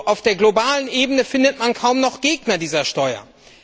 Auf der globalen Ebene findet man kaum noch Gegner dieser Steuer.